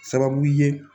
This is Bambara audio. Sababu ye